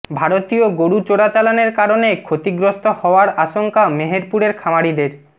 ভারতীয় গরু চোরাচালানের কারণে ক্ষতিগ্রস্ত হওয়ার আশঙ্কা মেহেরপুরের খামারিদের